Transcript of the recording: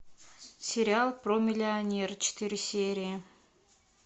сериал про миллионера четыре серии